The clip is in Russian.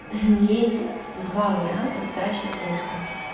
есть два варианта сдачи теста